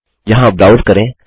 यहाँ ब्राउज़ करें